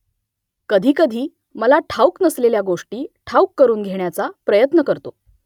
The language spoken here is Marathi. कधीकधी मला ठाऊक नसलेल्या गोष्टी ठाऊक करून घेण्याचा प्रयत्न करतो